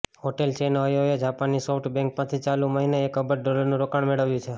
hotel chain ઓયોએ જાપાનની SoftBank પાસેથી ચાલુ મહિને એક અબજ ડોલરનું રોકાણ મેળવ્યું છે